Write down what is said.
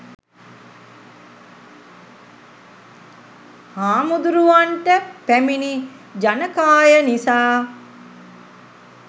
හාමුදුරුවන්ට පැමිණි ජනකාය නිසා